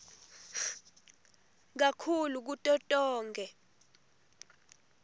kakhulu kuto tonkhe